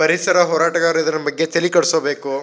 ಪರಿಸರ ಹೋರಾಟಗಾರರು ಇದರ ಬಗ್ಗೆ ತಲಿ ಕೆಡಿಸ್ಕೊಬೇಕು.